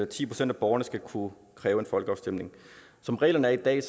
ti procent af borgerne skal kunne kræve en folkeafstemning som reglerne er i dag